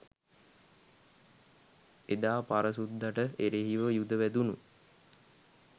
එදා පර සුද්දට එරෙහිව යුධ වැදුණු